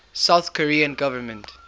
south korean government